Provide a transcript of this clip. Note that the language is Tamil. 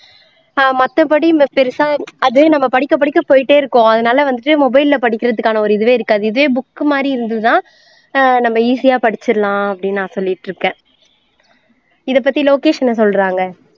ஆஹ் மத்தப்படி இந்த பெருசா அது நாம் படிக்க படிக்க போயிட்டே இருக்கும் அதுனால வந்து mobile ல படிக்கிறதுக்கான ஒரு இதுவே இருக்காது இதுவே book மாதிரி இருந்ததுனா ஆஹ் நம்ம easy ஆ படிச்சுடலாம் அப்படின்னு நான் சொல்லிட்டுருக்கேன் இதைப்பத்தி லோகேஷ் என்ன சொல்றாங்க